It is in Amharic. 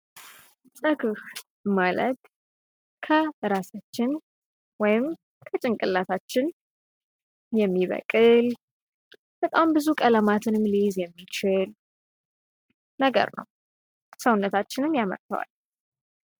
ፀጉር ማለት ከራሳችን ወይም ከጭንቅላታችን የሚበቅል በጣም ብዙ ቀለማትን የሚችል ነገር ነው። ሰውነታችንም ያመርተዋል።